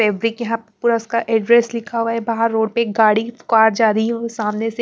fabric यहां पूरा उसका एड्रेस लिखा हुआ है बाहर रोड पे गाड़ी कार जा रही है सामनेसे--